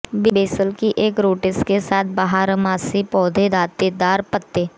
basal की एक rosette के साथ बारहमासी पौधों दांतेदार पत्ते